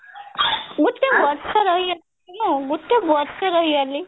ଗୋଟେ ବର୍ଷ ରହିଗଲି ମୁଁ ଗୋଟେ ବର୍ଷ ରହିଗଲି